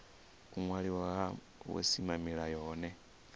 u waliwa ha vhusimamilayo hohe